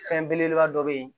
Fɛn belebeleba dɔ bɛ yen